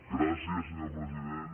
gràcies senyor president